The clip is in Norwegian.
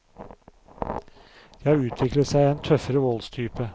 Det har utviklet seg en tøffere voldstype.